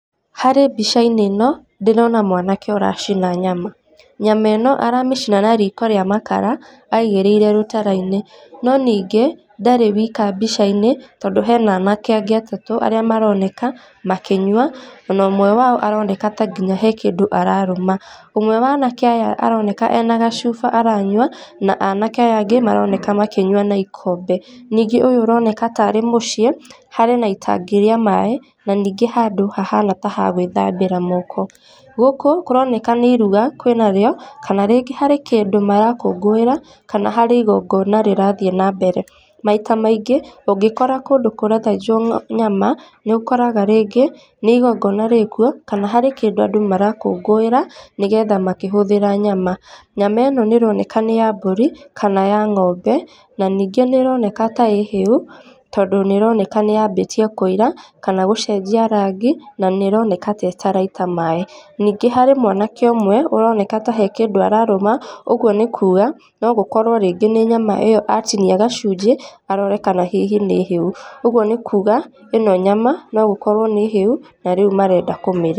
Harĩ mbica-inĩ ĩno, ndĩrona mwanake ũracina nyama. Nyama ĩno aramĩcina na riko rĩa makara aigĩrĩire rũtara-inĩ, no ningĩ, ndarĩ wĩka mbica-inĩ, tondũ hena anake angĩ atatũ arĩa maroneka makĩnyua, na ũmwe wao aroneka ta nginya he kĩndũ ararũma. Ũmwe wa anake aya aroneka ena gacuba aranyua, na anake aya angĩ maroneka makĩnyua na ikombe. Ningĩ ũyũ ũroneka tarĩ mũciĩ, harĩ na itangi rĩa maaĩ, na ningĩ handũ hahana ta ha gwĩthambĩra moko. Gũkũ kũroneka nĩ iruga kwĩnarĩo, kana rĩngĩ harĩ kĩndũ marakũngũĩra, kana harĩ igongona rĩrathiĩ nambere. Maita maingĩ ũngĩkora kũndũ kũra tayarishwo nyama, nĩũkoraga rĩngĩ nĩ ingongona rĩ kuo, kana harĩ kĩndũ andũ marakũngũĩra, nĩgetha makĩhũthĩra nyama. Nyama ĩno nĩ ĩroneka nĩ ya mbũri kana ya ng'ombe, na ningĩ nĩ ĩroneka ta ĩ hĩu, tondũ nĩ ĩroneka nĩyambĩtie kũira, kana gũcenjia rangĩ na nĩ ĩroneka ta ĩtaraita maaĩ. Ningĩ harĩ mwanake ũmwe ũroneka ta he kĩndũ ararũma, ũguo nĩ kuuga no gũkorwo rĩngĩ nĩ nyama ĩyo atinia gacunjĩ, arore kana hihi nĩ hĩu. Ũguo nĩ kuuga, ĩno nyama no gũkorwo nĩ hĩu na rĩu marenda kũmĩrĩa.